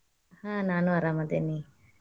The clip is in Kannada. ಆಹ್ ನಾನು ಅರಾಮದೇನಿ.